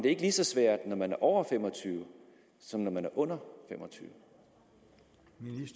ikke lige så svært når man over fem og tyve år som når man er under fem og tyve